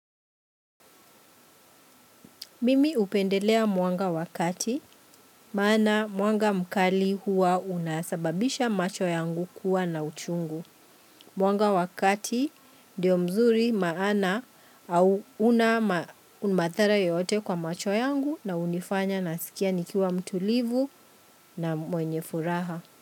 Mimi hupendelea mwanga wa kati, maana mwanga mkali huwa una sababisha macho yangu kuwa na uchungu. Mwanga wa kati ndio mzuri maana au huna madhara yote kwa macho yangu na hunifanya nasikia nikiwa mtulivu na mwenye furaha.